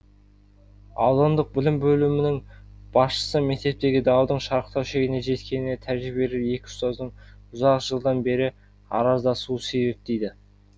аудандық білім бөлімінің басшысы мектептегі даудың шарықтау шегіне жеткеніне тәжірибелі екі ұстаздың ұзақ жылдан бері араздасуы себеп дейді